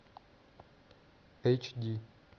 эйч ди